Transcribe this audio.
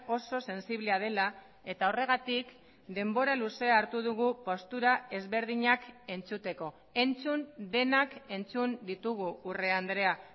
oso sensiblea dela eta horregatik denbora luzea hartu dugu postura ezberdinak entzuteko entzun denak entzun ditugu urrea andrea